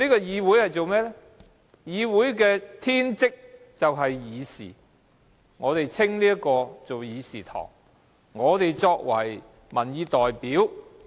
議會的天職是議事，所以這個地方稱為議事堂，而我們則是民意代表。